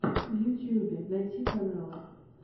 в ютюбе найти каналы